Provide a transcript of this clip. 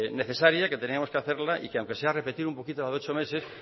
necesaria que teníamos que hacerla y que aunque sea repetir un poquito lo de ocho meses